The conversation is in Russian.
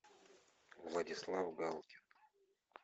владислав галкин